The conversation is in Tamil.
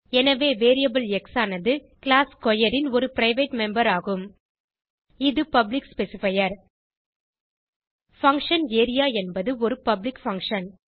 எனவே வேரியபிள் எக்ஸ் ஆனது கிளாஸ் ஸ்க்வேர் ன் ஒரு பிரைவேட் மெம்பர் ஆகும் இது பப்ளிக் ஸ்பெசிஃபையர் பங்ஷன் ஏரியா என்பது ஒரு பப்ளிக் பங்ஷன்